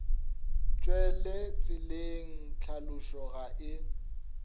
tšwele tseleng tlhalošo ga e